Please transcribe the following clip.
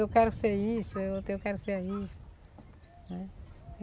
Eu quero ser isso, e o outro, eu quero ser isso, né.